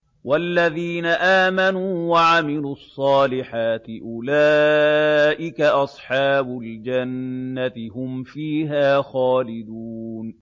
وَالَّذِينَ آمَنُوا وَعَمِلُوا الصَّالِحَاتِ أُولَٰئِكَ أَصْحَابُ الْجَنَّةِ ۖ هُمْ فِيهَا خَالِدُونَ